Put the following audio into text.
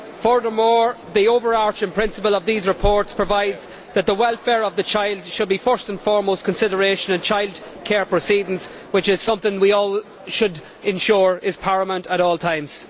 Furthermore, the overarching principle of these reports provides that the welfare of the child should be the first and foremost consideration in childcare proceedings, which is something we all should ensure is paramount at all times.